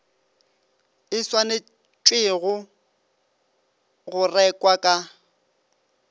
e swanetšwego go rekwa ka